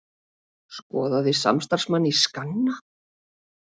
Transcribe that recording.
Skoðaði samstarfsmann í skanna